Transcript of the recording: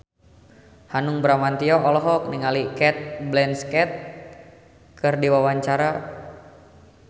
Hanung Bramantyo olohok ningali Cate Blanchett keur diwawancara